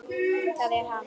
ÞAÐ ER HANN!